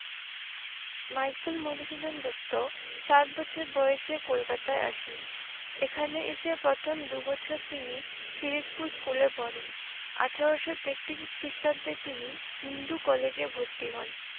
Michael Madhusudan Dutt সাত বছর বয়সে কলকাতায় আসেন। এখানে এসে প্রথম দু বছর তিনি কিরিটপূর স্কুলে পড়েন। আঠারো তেত্রিশ খ্রিষ্টাব্দে তিনি হিন্দু কলেজে ভর্তি হন।